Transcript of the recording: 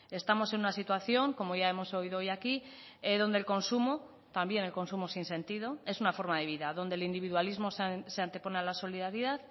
estamos en una situación como ya hemos oído hoy aquí donde el consumo también el consumo sin sentido es una forma de vida donde el individualismo se antepone a la solidaridad